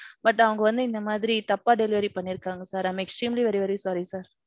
But அவங்க வந்து இந்த மாதிரி தப்பா delivery பண்ணியிருக்காங்க sir. I am extremly very very sorry sir.